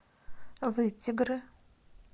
вытегры